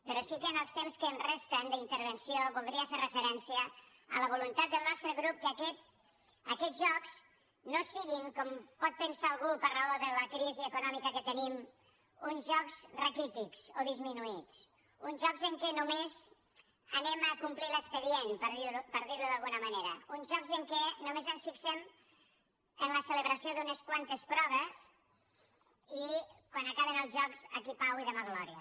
però sí que amb el temps que em resta d’intervenció voldria fer referència a la voluntat del nostre grup que aquests jocs no siguin com pot pensar algú per raó de la crisi econòmica que tenim uns jocs raquítics o disminuïts uns jocs en què només anem a complir l’expedient per dirho d’alguna manera uns jocs en què només ens fixem en la celebració d’unes quantes proves i quan acaben els jocs aquí pau i demà glòria